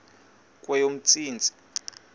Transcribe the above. kweyomntsintsi